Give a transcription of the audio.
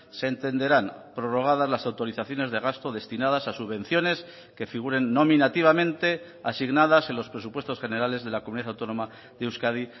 se entenderán prorrogadas las autorizaciones de gasto destinadas a subvenciones que figuren nominativamente asignadas en los presupuestos generales de la comunidad autónoma de euskadi